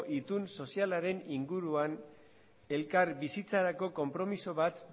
itun sozialaren inguruan elkar bizitzarako konpromiso bat